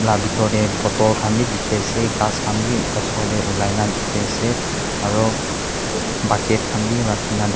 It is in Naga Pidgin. bethor te bootle khan bhi dekhi ase gass khan bhi osor te ulai na dekhi ase aru baket khan bhi rakhi na--